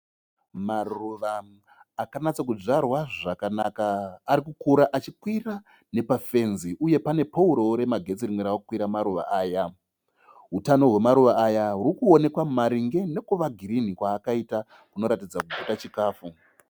Maruva akanatsa kudzvarwa zvakanaka. Arikukura achikwira nepa fenzi. Uye pane pouru remagetsi rimwe ravekukwira maruva aya. Utano hwemaruva aya hurikuonekwa maringe nekuva girinhi kwakaita kunoratidza kuti pachikafu.